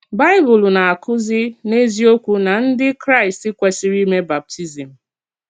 Baịbụl na-akúzì n’eziòkwù nà ndí Kraịst kwesìrì ímè bàptízm.